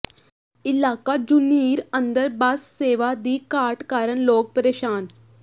ਇਲਾਕਾ ਝੁਨੀਰ ਅੰਦਰ ਬੱਸ ਸੇਵਾ ਦੀ ਘਾਟ ਕਾਰਨ ਲੋਕ ਪ੍ਰੇਸ਼ਾਨ